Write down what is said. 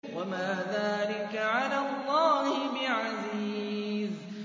وَمَا ذَٰلِكَ عَلَى اللَّهِ بِعَزِيزٍ